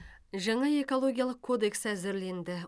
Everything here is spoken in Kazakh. жаңа экологиялық кодекс әзірленді